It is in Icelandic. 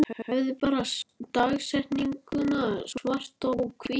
Hefði bara dagsetninguna svart á hvítu.